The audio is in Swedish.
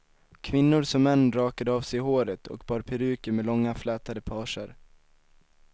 Kvinnor som män rakade av sig håret och bar peruker med långa flätade pager.